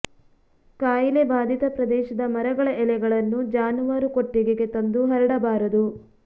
ಕಾಯಿಲೆ ಬಾಧಿತ ಪ್ರದೇಶದ ಮರಗಳ ಎಲೆಗಳನ್ನು ಜಾನುವಾರು ಕೊಟ್ಟಿಗೆಗೆ ತಂದು ಹರಡಬಾರದು